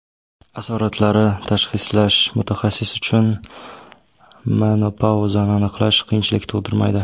Asoratlari Tashxislash Mutaxassis uchun menopauzani aniqlash qiyinchilik tug‘dirmaydi .